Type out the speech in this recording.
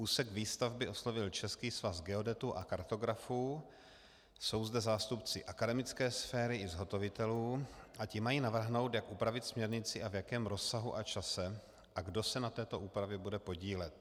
Úsek výstavby oslovil Český svaz geodetů a kartografů, jsou zde zástupci akademické sféry i zhotovitelů a ti mají navrhnout, jak upravit směrnici a v jakém rozsahu a čase a kdo se na této úpravě bude podílet.